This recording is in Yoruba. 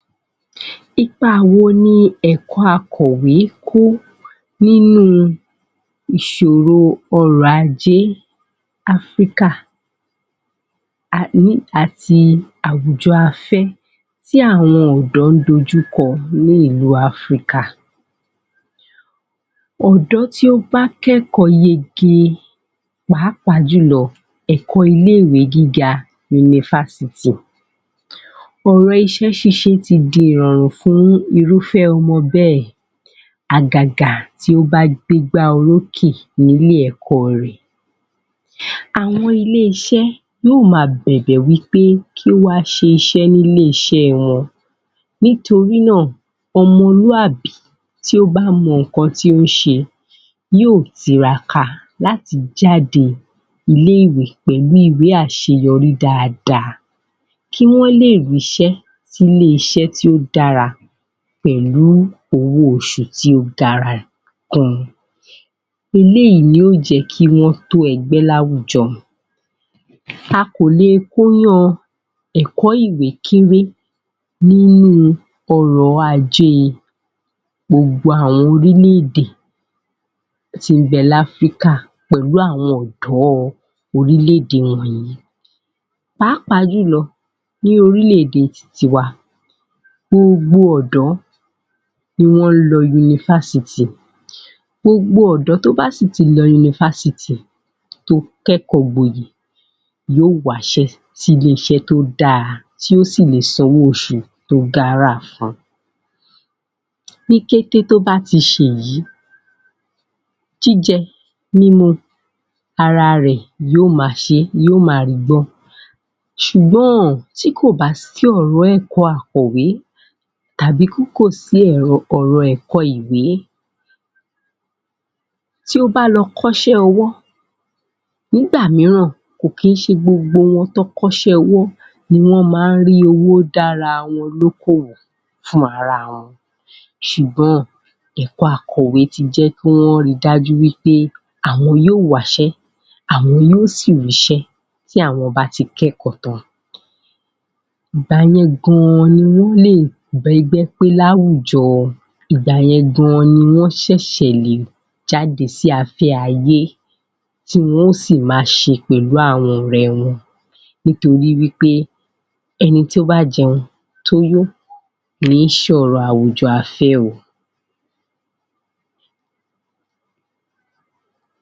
Ipa wo ni ẹ̀kọ́ akọ̀wé ń kó nínú ìṣòwó ọ̀rọ̀ ajé africa ayé àti àwùjọ afẹ́ tí àwọn ọ̀dọ́ ń dojú kọ ní ìlú Africa ọ̀dọ́ tí ó bá kẹ́kọ̀ọ́ yege pàápàá jùlọ ẹ̀kọ́ ilé-ìwé gíga yunífásítì Òrọ̀ iṣẹ́ ṣíṣe ti di ìrọ̀rùn fún ọmọ bẹ́ẹ̀ àgàgà tí ó bá gbé igbá orókè ní ilé-ẹ̀kọ́ rẹ̀ Àwọn ilé-iṣẹ́ yóò máa bẹ̀bẹ̀ wí pé kí ó wá ṣiṣẹ́ ní ilé-iṣẹ́ wọn nítorí náà, ọmọlúàbí tí ó bá mọ nǹkan tí ó ń ṣe yóò tiraka láti jáde ilé-ìwé pẹ̀lú àṣeyọrí dáadáa kí wọ́n lè rí iṣẹ́ sí ilé-iṣẹ́ tí ó dára pẹ̀lú owó oṣù tí ó dára Eléyìí yóò jẹ́ kí wọ́n tó ẹgbẹ́ láwùjọ A kò lè ko iyan ẹ̀kọ́ ìwé kéré nínú ọrọ̀ ajé gbogbo àwọn orílẹ̀-èdè tí ń bẹ ní africa pẹ̀lú àwọn ọ̀dọ̀ orílẹ̀-èdè ilẹ̀ yìí pàápàá jù lọ ní orílẹ̀-èdè tiwa gbogbo ọ̀dọ́ ni wọ́n lọ yunífásítì gbogbo ọ̀dọ́ tó bá sì ti lọ yunífásítì tó kẹ́kọ̀ọ́ gboyè yóò wa iṣẹ́ sí ilé-iṣẹ́ tó dára tó sì lè san owó oṣù tó gara fun ní kété tó bá ti ṣe èyí jíjẹ, mímu ara rẹ̀ yóò ma ṣe yóò máa ri gbọ́ ṣùgbọ́n tí kò bá sí ẹ̀kọ̀ akọ̀wé tàbí tí kò sí ọ̀rọ̀ ẹ̀kọ́ ìwé tí ó bá lọ kọ́ iṣẹ́ ọwọ́, nígbà mìíràn kì í ṣe gbogbo wọn tí wọ́n kọ́ iṣẹ́ ọwọ́ ni wọ́n máa ń rí owó dá ara wọn lókòwò fún ara wọn ṣùgbọn, nǹkan akọ̀wé ti jẹ́ kí wọ́n ri dájú wí pé àwọn yóò wá iṣẹ́ àwọn yóò sì rí iṣẹ́ tí àwọn bá ti kẹ́kọ̀ọ́ tán ìgbà yẹn gan ni wọ́n lè bá ẹgbẹ́ pé ní àwùjọ ìgbà yẹn gangan ni wọ́n ṣẹ̀ lè jáde sí afẹ́ ayé tí wọn ó sì máa ṣe pẹ̀lú àwọn ọ̀rẹ́ wọn Nítorí wí pé ẹni tó bá jẹun tó yó ni í ṣe ọ̀rọ̀ àwùjọ afẹ́ o